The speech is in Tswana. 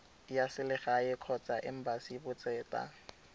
ya selegae kgotsa embasi botseta